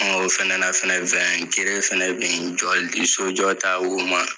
Ɔ o fɛnɛ na fɛnɛ win gere fɛnɛ bi jɔ sojɔ ta o ma